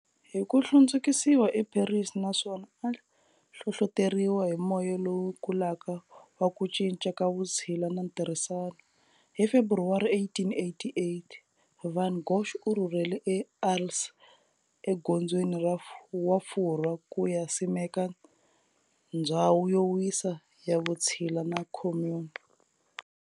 Hiku hlundzukisiwa e Paris naswona a hlohloteriwa hi moya lowu kulaka wa ku cinca ka vutshila na ntirhisano, hi February 1888, van Gogh u rhurhele e Arles e dzongeni wa Furwa kuya simeka ndzhawu yo wisa ya vutshila na commune.